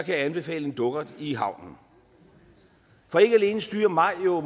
jeg anbefale en dukkert i havnen for ikke alene styrer maj jo